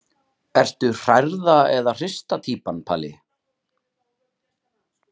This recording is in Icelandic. Ertu hrærða eða hrista týpan Palli?